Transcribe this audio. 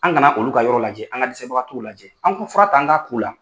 An kana olu ka yɔrɔ lajɛ an ka dɛsɛ bagatɔw lajɛ an k'u fura ta an ka k'u la.